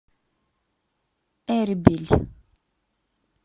эрбиль